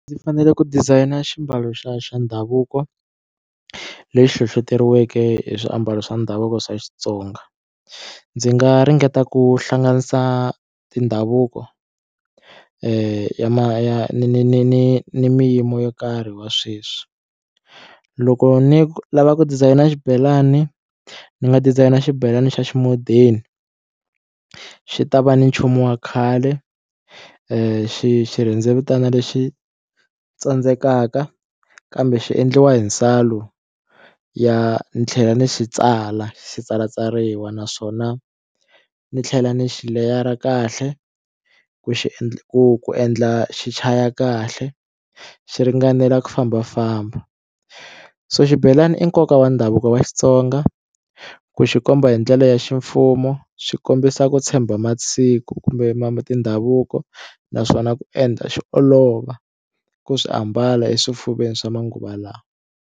Ndzi fanele ku designer ximbalo xa xa ndhavuko lexi hlohloteriweke hi swiambalo swa ndhavuko swa Xitsonga ndzi nga ringeta ku hlanganisa tindhavuko ya ma ya ni ni ni ni ni miyimo yo karhi wa sweswi loko ni lava ku design xibelani ni nga design xibelani xa xi modern xi ta va ni nchumu wa khale xi xi xirhendzevutani lexi tsandzekaka kambe xi endliwa hi nsalo ya ni tlhela ni xi tsala xi tsalatsariwa naswona ni tlhela ni xi leyara kahle ku xi endla ku ku endla xichaya kahle xi ringanela ku fambafamba so xibelani i nkoka wa ndhavuko wa Xitsonga ku xi komba hi ndlela ya ximfumo swi kombisa ku tshemba masiku kumbe tindhavuko naswona ku endla xi olova ku swi ambala eswifuveni swa manguva lawa.